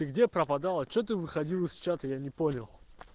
ты где пропадал а что ты выходил из чата я не понял